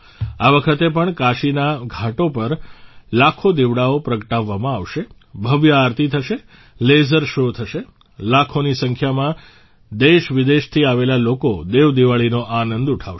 આ વખતે પણ કાશીના ઘાટો પર લાખો દીવડાઓ પ્રગટાવવામાં આવશે ભવ્ય આરતી થશે લેસર શો થશે લાખોની સંખ્યામાં દેશવિદેશથી આવેલા લોકો દેવ દિવાળીનો આનંદ ઉઠાવશે